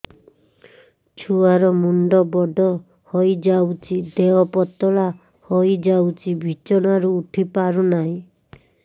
ଛୁଆ ର ମୁଣ୍ଡ ବଡ ହୋଇଯାଉଛି ଦେହ ପତଳା ହୋଇଯାଉଛି ବିଛଣାରୁ ଉଠି ପାରୁନାହିଁ